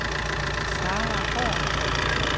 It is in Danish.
Sara Haahr